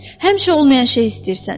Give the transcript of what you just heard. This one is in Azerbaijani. Həmişə olmayan şey istəyirsən.